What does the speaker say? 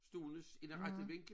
Stående i den rette vinkel